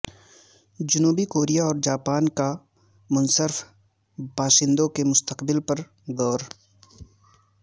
جنوبی کوریا اور جاپان کا منحرف باشندوں کے مستقبل پر غور